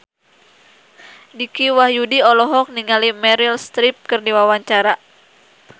Dicky Wahyudi olohok ningali Meryl Streep keur diwawancara